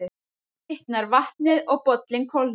Þá hitnar vatnið og bollinn kólnar.